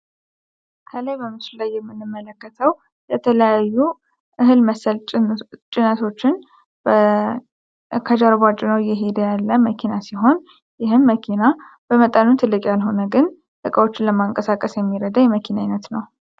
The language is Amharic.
ካሌብ በምስሉ ላይ የምንመለከተው የተለያዩ እህል መሰል ጭነቶችን ከኋላ ጭኖ እየሄደ ያለ መኪና ይህም መኪና በመጠኑ ትልቅ ያልሆነ ነገር ግን እቃዎችን ከቦታው ቦታ ለማንቀሳቀስ የሚረዳ የመኪና አይነት ነው።